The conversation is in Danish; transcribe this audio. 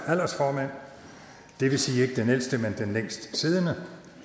aldersformand det vil sige ikke den ældste men den længst siddende